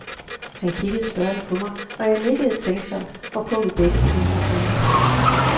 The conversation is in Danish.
Han kiggede spørgende på mig, og jeg nikkede tænksomt, hvorpå vi begge begyndte at grine.